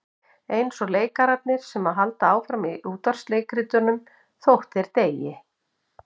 Eins og leikarar sem halda áfram í útvarpsleikritum þótt þeir deyi.